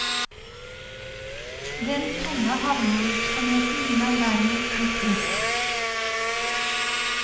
Den tunge havnevirksomheten vil han derimot bli kvitt.